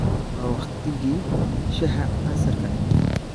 Waa waqtigii shaaha casarka.